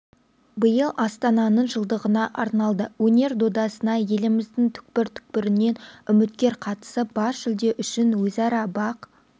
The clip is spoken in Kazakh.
биыл астананың жылдығына арналды өнер додасына еліміздің түкпір-түкпірінен үміткер қатысып бас жүлде үшін өзара бақ